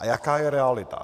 A jaká je realita?